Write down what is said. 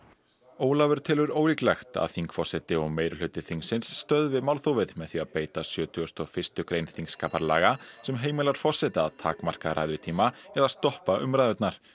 Ólafur telur ólíklegt að þingforseti og meirihluti þingsins stöðvi málþófið með því að beita sjötugasta og fyrsta grein þingskaparlaga sem heimilar forseta að takmarka ræðutíma eða stoppa umræðurnar